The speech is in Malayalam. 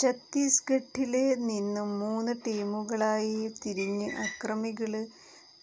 ചത്തീസ്ഘട്ടില് നിന്നും മൂന്ന് ടീമുകളായി തിരിഞ്ഞ് അക്രമികള്